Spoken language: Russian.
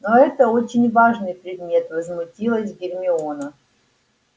но это очень важный предмет возмутилась гермиона